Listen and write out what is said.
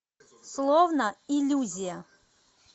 словно иллюзия